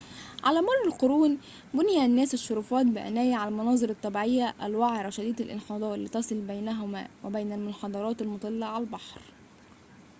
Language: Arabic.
على مر القرون بنى الناس الشرفات بعناية على المناظر الطبيعية الوعرة شديدة الانحدار لتصل بينها وبين المنحدرات المُطلّة على البحر